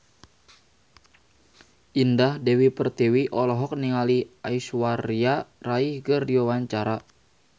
Indah Dewi Pertiwi olohok ningali Aishwarya Rai keur diwawancara